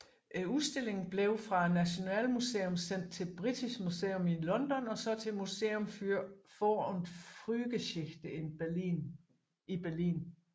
Udstillingen blev fra Nationalmuseet sendt til British Museum i London og så til Museum für Vor und Frühgeschichte i Berlin